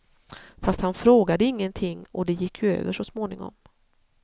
Fast han frågade ingenting, och det gick ju över så småningom.